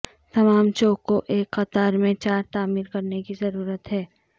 تمام چوکوں ایک قطار میں چار تعمیر کرنے کی ضرورت ہے